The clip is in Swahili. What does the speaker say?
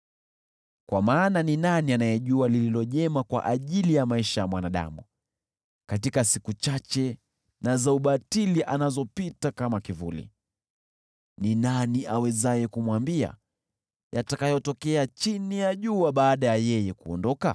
Kwa maana ni nani anayejua lililo jema kwa ajili ya maisha ya mwanadamu, katika siku chache na za ubatili anazopita kama kivuli? Ni nani awezaye kumwambia yatakayotokea chini ya jua baada ya yeye kuondoka?